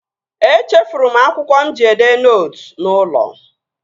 Echefuru m akwụkwọ mụ ji edee nootu n'ụlọ